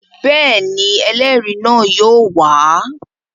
Bẹ́ẹ̀ ni, ẹlẹ́rìí náà yóò wà á.